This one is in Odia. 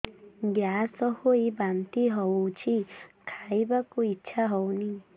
ଗ୍ୟାସ ହୋଇ ବାନ୍ତି ହଉଛି ଖାଇବାକୁ ଇଚ୍ଛା ହଉନି